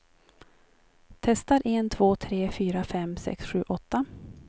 Testar en två tre fyra fem sex sju åtta.